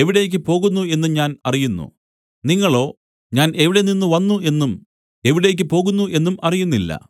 എവിടേക്ക് പോകുന്നു എന്നും ഞാൻ അറിയുന്നു നിങ്ങളോ ഞാൻ എവിടെനിന്ന് വന്നു എന്നും എവിടേക്ക് പോകുന്നു എന്നും അറിയുന്നില്ല